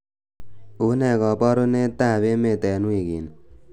unee koborunet ab emet en wigini